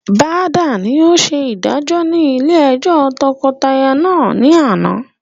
Bada ni ó ṣe ìdájọ́ ni ilé ẹjọ́ tọkọtaya náà ni àná